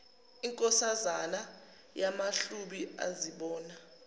inkosazana yamahlubi azibona